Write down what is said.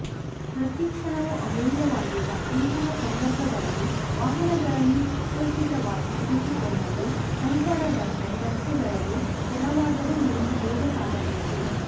ಪ್ರತೀ ಕ್ಷಣವೂ ಅಮೂಲ್ಯವಾಗಿರುವ ಇಂತಹ ಸಂದರ್ಭಗಳಲ್ಲಿ ವಾಹನಗಳನ್ನು ಸುಸಜ್ಜಿತವಾಗಿ ಇರಿಸಿಕೊಂಡಲ್ಲಿ ಸಂಚಾರ ದಟ್ಟಣೆ ರಸ್ತೆಗಳಲ್ಲಿ ಕೆಲವಾದರೂ ನಿಮಿಷ ಬೇಗ ಸಾಗಬಹುದು